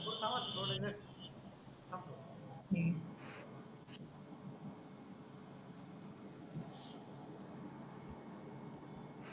पुर लावाणा थोडेसे हम्म